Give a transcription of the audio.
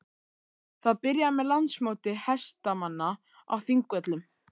Það byrjaði með Landsmóti hestamanna á Þingvöllum.